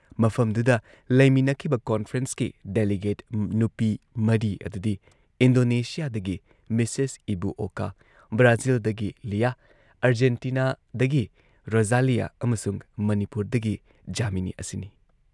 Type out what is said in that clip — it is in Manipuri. ꯃꯐꯝꯗꯨꯗ ꯂꯩꯃꯤꯟꯅꯈꯤꯕ ꯀꯣꯟꯐ꯭ꯔꯦꯟꯁꯀꯤ ꯗꯦꯂꯤꯒꯦꯠ ꯅꯨꯄꯤ ꯃꯔꯤ ꯑꯗꯨꯗꯤ ꯏꯟꯗꯣꯅꯦꯁꯤꯌꯥꯗꯒꯤ ꯃꯤꯁꯦꯁ ꯏꯕꯨ ꯑꯣꯀꯥ, ꯕ꯭ꯔꯥꯖꯤꯜꯗꯒꯤ ꯂꯤꯌꯥ, ꯑꯔꯖꯦꯟꯇꯤꯅꯥꯗꯒꯤ ꯔꯣꯖꯥꯂꯤꯌꯥ ꯑꯃꯁꯨꯡ ꯃꯅꯤꯄꯨꯔꯗꯒꯤ ꯖꯥꯃꯤꯅꯤ ꯑꯁꯤꯅꯤ ꯫